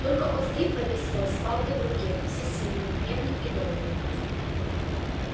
только он стоит во весь рост с палкой в руке всесильный гневный и добрый